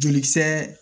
Jolikisɛ